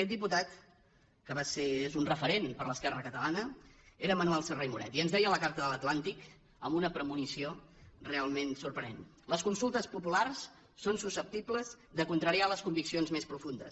aquest diputat que és un referent per a l’esquerra catalana era manuel serra i moret i ens deia a la carta de l’atlàntic amb una premonició realment sorprenent les consultes populars són susceptibles de contrariar les conviccions més profundes